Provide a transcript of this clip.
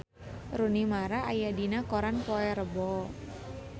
Rooney Mara aya dina koran poe Rebo